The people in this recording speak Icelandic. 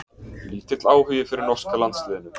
Lítill áhugi fyrir norska landsliðinu